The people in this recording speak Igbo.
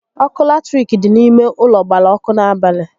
Ọkụ latirik dị n'ime ụlọ gbara ọkụ n'abalị